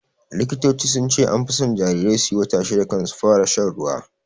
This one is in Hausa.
Likitoci sunce anfi son jarirai suyi wata shida kan su fara shan ruwa